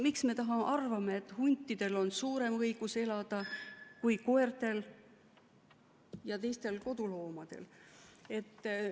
Miks me arvame, et huntidel on suurem õigus elada kui koertel ja teistel koduloomadel?